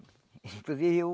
Inclusive eu